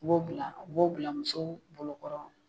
B'o bila u b'o bila musow bolo kɔrɔ